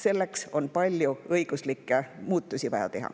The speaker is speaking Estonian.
Selleks on vaja teha palju õiguslikke muutusi.